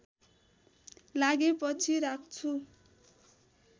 लागे पछि राख्छु